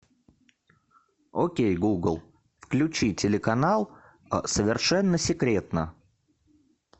окей гугл включи телеканал совершенно секретно